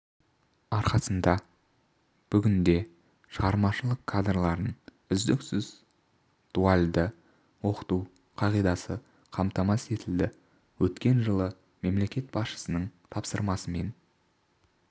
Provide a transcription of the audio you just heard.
арқасында бүгінде шығармашылық кадрларын үздіксіз дуальді оқыту қағидасы қамтамасыз етілді өткен жылы мемлекет басшысының тапсырмасымен